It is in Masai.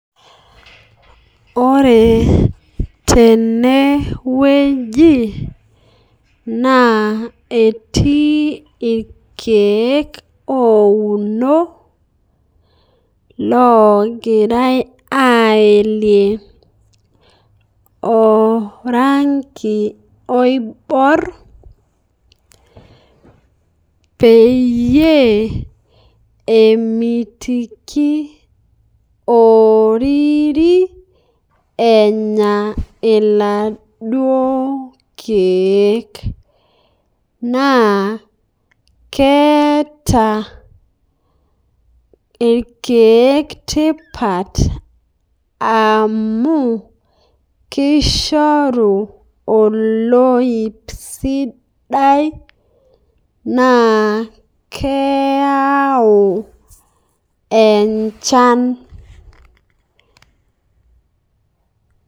Ore tene wueji naa etii ilkiek ounoo logirai aiele orangi oibuoor peiye emitiiki oririi enyaa eladoo lkiek, naa keeta ilkiek tipaat amu keishoruu oloip sidai, naa keiyau echaan.